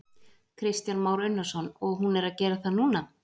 Kristján Már Unnarsson: Og hún er að gera það núna?